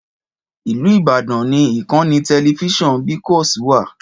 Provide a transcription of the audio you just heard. Ìlú Ìbàdàn ni ìkànnì tẹlifíṣàn BCOS wà.